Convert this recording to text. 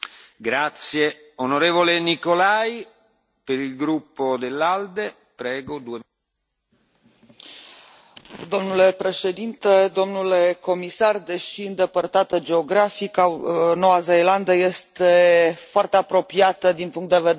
Domnule președinte, domnule comisar, deși îndepărtată geografic Noua Zeelandă este foarte apropiată din punct de vedere al partajării valorilor democratice și al standardelor civilizaționale înalte cu Uniunea Europeană.